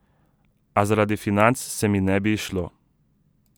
A zaradi financ se mi ne bi izšlo.